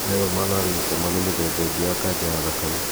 Myeloma na lymphoma nĩ mĩthemba ĩngĩ ya kanja ya thakame